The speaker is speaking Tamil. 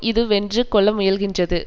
இது வென்று கொள்ள முயல்கின்றது